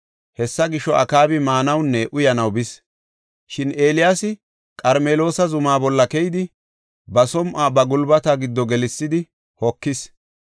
Hessa gisho, Akaabi maanawunne uyanaw bis. Shin Eeliyaasi Qarmeloosa zuma bolla keyidi, ba som7uwa ba gulbata giddo gelsidi hokis.